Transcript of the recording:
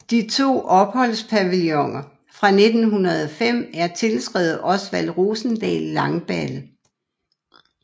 De to opholdspavilloner fra 1905 er tilskrevet Osvald Rosendahl Langballe